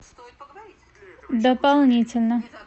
дополнительно